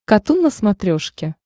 катун на смотрешке